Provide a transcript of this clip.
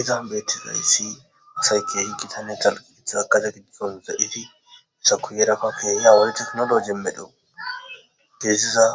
Izan beeththizayssi asay keehi githanne dalgga gidiza gade giddon de7iiddi esaku heeerafa keehi woykko theknolooje medho geessiza